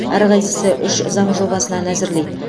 әрқайсысы үш заң жобасынан әзірлейді